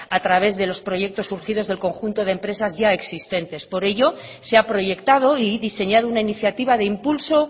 a través de los proyectos surgidos del conjunto de empresas ya existentes por ello se ha proyectado y diseñado una iniciativa de impulso